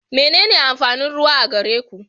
Menene amfanin ruwa a gere ku?